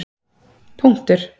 punktur